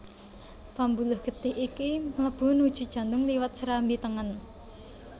Pambuluh getih iki mlebu nuju jantung liwat serambi tengen